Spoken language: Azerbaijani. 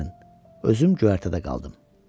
Özüm göyərtədə qaldım.